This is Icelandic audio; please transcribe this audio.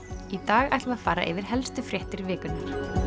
í dag ætlum við að fara yfir helstu fréttir vikunnar